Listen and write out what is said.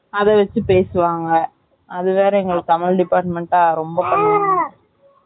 அத வச்சி பேசுவாங்க அது வேற எங்களுக்கு தமிழ் department அ ரொம்ப பண்ணுவாங்க